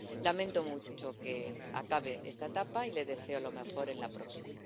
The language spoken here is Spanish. Lamento mucho que acabe esta etapa y le deseo lo mejor en la próxima.